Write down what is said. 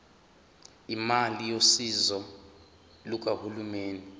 imali yosizo lukahulumeni